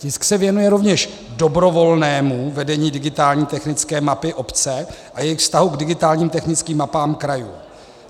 Tisk se věnuje rovněž dobrovolnému vedení digitální technické mapy obce a jejích vztahů k digitálním technickým mapám krajů.